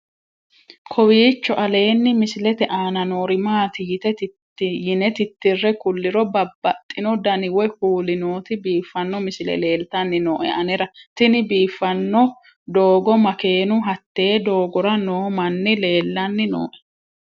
kowiicho aleenni misilete aana noori maati yine titire kulliro babaxino dani woy kuuli nooti biiffanno misile leeltanni nooe anera tino biiffanno doogo makeennu hatee doogora noo manni leellanni nooe